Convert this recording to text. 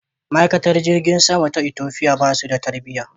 Ma'aikatan cikin jirgin saman Ethiopia basu da tarbiya.